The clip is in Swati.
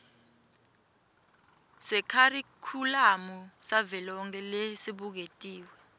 sekharikhulamu savelonkhe lesibuketiwe